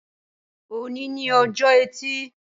Òní ni ojọ́ ẹtì